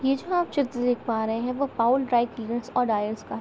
यह जो आप चित्र देख पा रहे है वो पॉउल ड्राई क्लीनर्स और ड्राइयर्स का है।